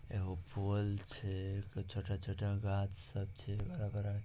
एगो फूल छै क छोटा-छोटा घास सब छै बड़ा बड़ा --